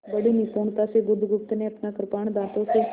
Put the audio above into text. बड़ी निपुणता से बुधगुप्त ने अपना कृपाण दाँतों से